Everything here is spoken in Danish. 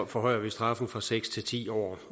forhøjer vi straffen fra seks til ti år